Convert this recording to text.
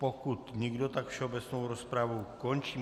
Pokud nikdo, tak všeobecnou rozpravu končím.